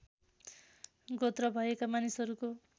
गोत्र भएका मानिसहरूको